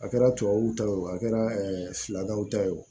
A kɛra tubabuw ta ye o a kɛra fila daw ta ye o